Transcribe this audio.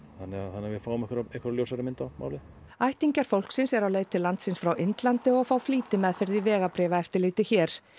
þannig að við fáum einhverja einhverja ljósari mynd á málið ættingjar fólksins eru á leið til landsins frá Indlandi og fá flýtimeðferð í vegabréfaeftirliti hér